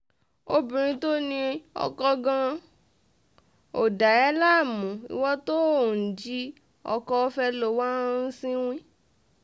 obìnrin tó ní oko gan-an ò um dà ẹ́ láàmú ìwo tó ò ń jí ọkọ fẹ́ ló wáá um ń sìnwìn